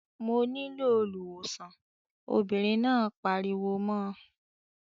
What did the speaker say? "Mo nílò olùwòsàn" Obìnrin náà pariwo mọ́ ọ.